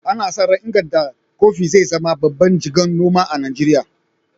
Ana sa ran Nganda Coffee zai zama babban jigon noma a Najeriya.